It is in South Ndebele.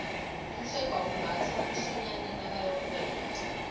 umsegwabo umbatha umsonyani nakayokuwela